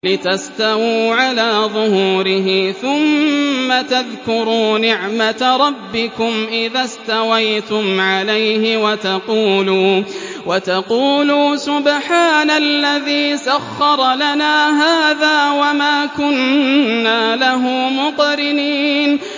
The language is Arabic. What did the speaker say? لِتَسْتَوُوا عَلَىٰ ظُهُورِهِ ثُمَّ تَذْكُرُوا نِعْمَةَ رَبِّكُمْ إِذَا اسْتَوَيْتُمْ عَلَيْهِ وَتَقُولُوا سُبْحَانَ الَّذِي سَخَّرَ لَنَا هَٰذَا وَمَا كُنَّا لَهُ مُقْرِنِينَ